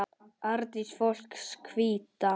Artist fólks Hvíta.